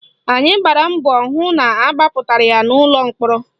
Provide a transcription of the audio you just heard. Anyị gbara mbọ hụ na agbapụtara ya n'ụlọ mkpọrọ